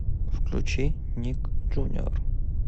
включи ник джуниор